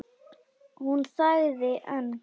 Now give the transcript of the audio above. Hún þagði en